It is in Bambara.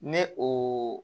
Ne o